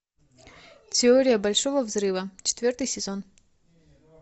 теория большого взрыва четвертый сезон